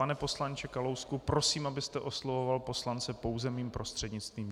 Pane poslanče Kalousku, prosím, abyste oslovoval poslance pouze mým prostřednictvím.